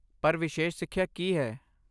ਪਰ, ਵਿਸ਼ੇਸ਼ ਸਿੱਖਿਆ ਕੀ ਹੈ?